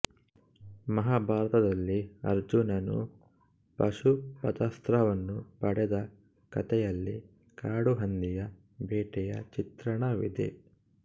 ಮಹಾಭಾರತದಲ್ಲಿ ಅರ್ಜುನನು ಪಾಶುಪತಾಸ್ತ್ರವನ್ನು ಪಡೆದ ಕತೆಯಲ್ಲಿ ಕಾಡುಹಂದಿಯ ಬೇಟೆಯ ಚಿತ್ರಣವಿದೆ